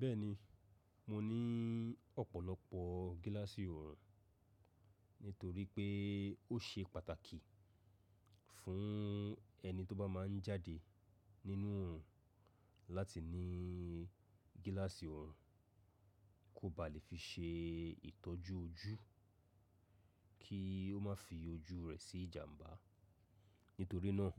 Bẹ́ẹ̀ni, mo ní ọ̀pọ̀lọpọ̀ gíláàsì òòrùn nítorí pé ó ṣe pàtàkì fún ẹni tó bá máa ń jáde nínú òòrùn láti ní gíláàsì òòrùn kó ba lè fi ṣe ìtọ́jú ojú kí ó má fi ojú rẹ̀ sí ìjàmbá. Nítorí náà,